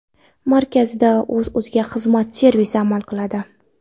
Markazda o‘z-o‘ziga xizmat servisi amal qiladi.